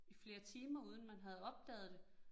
I flere timer uden man havde opdaget det